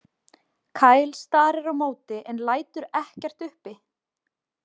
Kyle starir á móti en lætur ekkert uppi.